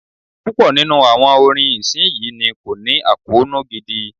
Púpọ̀ nínú àwọn orin ìsinyìí ni kò ní àkóónú gidi.